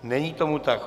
Není tomu tak.